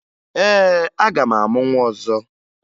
Ee, aga m amụ nwa ọzọ